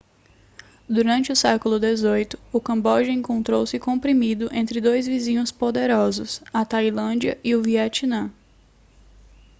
durante o século xviii o camboja encontrou-se comprimido entre dois vizinhos poderosos a tailândia e o vietnã